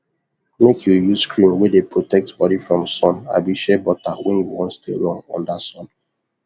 make u use cream wey dey protect body from sun abi shea butter when u wan stay long under sun